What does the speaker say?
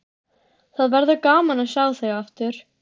Það verður gaman að sjá þig aftur.